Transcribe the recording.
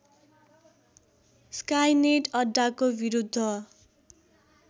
Skynet अड्डाको विरुद्ध